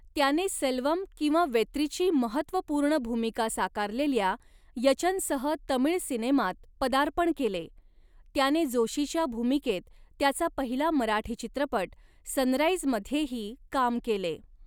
त्याने सेल्वम किंवा वेत्रीची महत्त्वपूर्ण भूमिका साकारलेल्या यचनसह तमिळ सिनेमात पदार्पण केले, त्याने जोशीच्या भूमिकेत त्याचा पहिला मराठी चित्रपट सनराइजमध्येही काम केले.